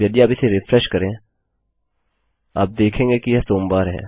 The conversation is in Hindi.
अब यदि आप इसे रिफ्रेश करें आप देखेंगे कि यह सोमवार है